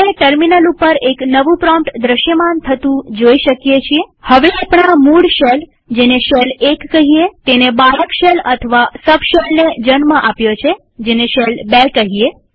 આપણે ટર્મિનલ ઉપર એક નવું પ્રોમ્પ્ટ દ્રશ્યમાન થતું જોઈ શકીએ છીએહવે આપણા મૂળ શેલજેને શેલ ૧ કહીએતેણે બાળક શેલ અથવા સબ શેલને જન્મ આપ્યો છે જેને શેલ ૨ કહીએ